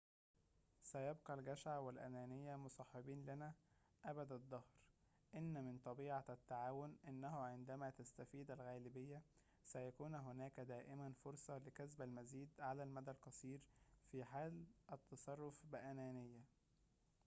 سيبقى الجشع والأنانية مصاحبين لنا أبد الدهر، إن من طبيعة التعاون أنه عندما تستفيد الغالبية، سيكون هناك دائماً فرصة لكسب المزيد على المدى القصير في حال التصرف بأنانية